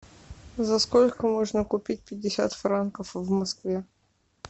за сколько можно купить пятьдесят франков в москве